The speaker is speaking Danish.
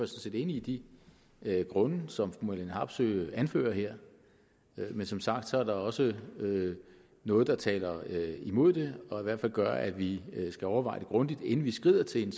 set enig i de grunde som fru marlene harpsøe anfører her men som sagt er der også noget der taler imod det og i hvert fald gør at vi skal overveje det grundigt inden vi skrider til den